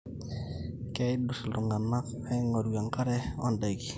keidurr iltung'anak aing'oru enkare ondaiki